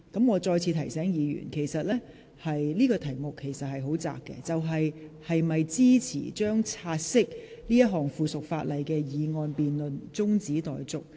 我再次提醒議員，這項辯論的範圍很窄，即本會應否將該項附屬法例的"察悉議案"辯論中止待續。